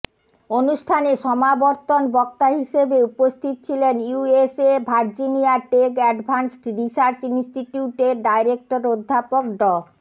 অনুষ্ঠানে সমাবর্তন বক্তা হিসাবে উপস্থিত ছিলেন USA Virginia Tech advanced research ইনস্টিটিউটের ডাইরেক্টর অধ্যাপক ড